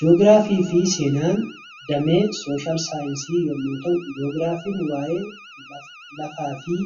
Ji'ogiraafii fi seenaan damee saayinsii yommuu ta'u, Ji'ogiraafiin waa'ee lafaa fi